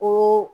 Ko